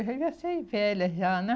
Eu já ia ser velha já, né?